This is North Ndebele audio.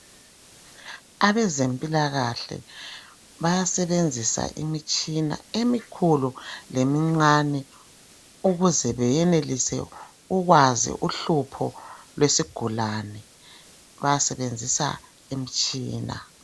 Abezempilakahle bayasebenzisa imitshina emikhulu lemincane, ukuze beyenelise ukwazi uhlupho lwesigulani, basebenzisa imitshina.